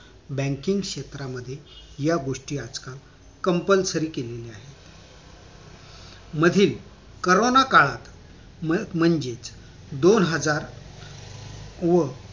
banking क्षेत्रामध्ये या गोष्टी आजकाल compulsory केलेल्या आहेत मधील कोरोना काळात म्हणजेच दोन हजार व